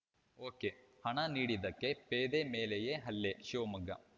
ಒಕೆಹಣ ನೀಡಿದ್ದಕ್ಕೆ ಪೇದೆ ಮೇಲೆಯೇ ಹಲ್ಲೆ ಶಿವಮೊಗ್ಗ